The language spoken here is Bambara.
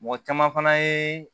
Mɔgɔ caman fana ye